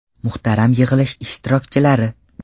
Muhtaram yig‘ilish ishtirokchilari!